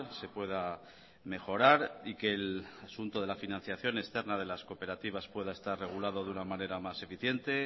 se pueda mejorar y que el asunto de la financiación externa de las cooperativas pueda estar regulado de una manera más eficiente